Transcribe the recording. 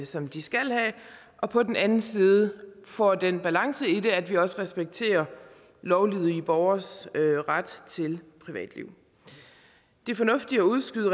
som de skal have og på den anden side får den balance i det at vi også respekterer lovlydige borgeres ret til privatliv det er fornuftigt at udskyde